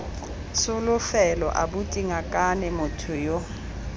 tsholofelo abuti ngakane motho yo